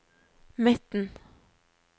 midten